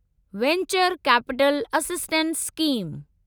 venture capital assistance scheme